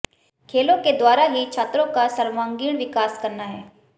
खेलों के द्वारा ही छात्रों का सर्वांगीण विकास करना है